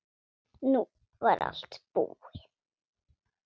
Nú var allt búið.